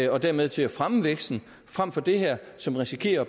og dermed til at fremme væksten frem for det her som risikerer at